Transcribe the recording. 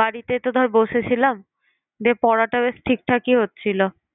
বাড়িতেই তো ধর বসেছিলাম দিয়ে পড়াটা বেশ ঠিকঠাকই হচ্ছিল